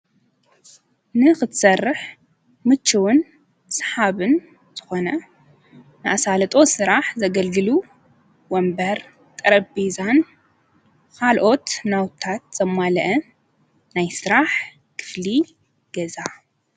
ንኽትሠርሕ ምችውን ሰሓብን ዝኾነ ንኣሣለጦ ሥራሕ ዘገልግሉ ወንበር ጠረቢዛን ኻልኦት ናውታት ዘማልአ ናይ ሥራሕ ክፍሊ ገዛ።